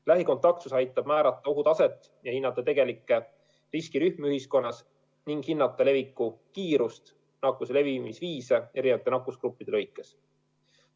Lähikontaktsus aitab määrata ohutaset ja hinnata tegelikke riskirühmi ühiskonnas, samuti leviku kiirust ja nakkuse levimise viise eri nakkusgruppides.